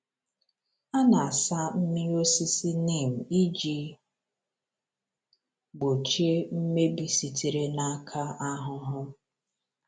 A na-asa mmiri osisi Neem iji gbochie mmebi sitere n’aka anụhụ.